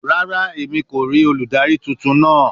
Rara, Emi ko rii oludari tuntun naa